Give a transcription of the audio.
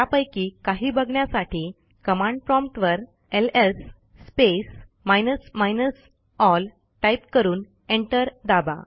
त्यापैकी काही बघण्यासाठी कमांड प्रॉम्प्ट वर LS space minus minus L type करून एंटर दाबा